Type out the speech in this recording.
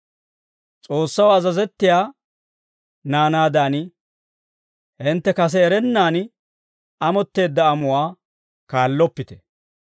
S'oossaw azazettiyaa naanaadan; hintte kase erennaan amotteedda amuwaa kaalloppite.